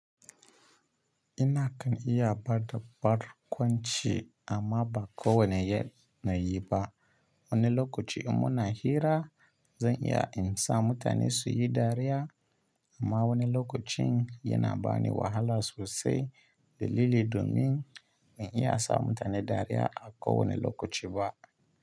Ina kan iya ba da barkwanci amma ba kowane yanayi ba. Wani lokaci in muna hira zan iya in sa mutane su yi dariya amma wani lokacin yana ba ni wahala sosai dalili domin ban iya sa mutane dariya a kowane lokaci ba.